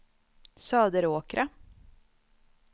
Söderåkra